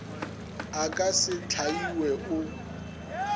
a ka se hlaiwe o